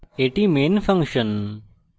এটি main function